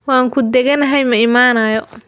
Waan ku dhegganahay ma imanayo.